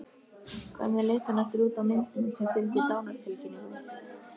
Hvernig leit hann aftur út á myndinni sem fylgdi dánartilkynningunni?